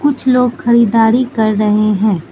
कुछ लोग खरीदारी कर रहे है।